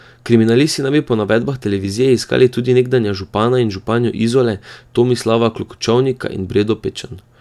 Kriminalisti naj bi po navedbah televizije iskali tudi nekdanja župana in županjo Izole, Tomislava Klokočovnika in Bredo Pečan.